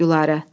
Gülarə!